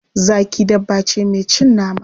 Zaki dabba ce mai cin nama.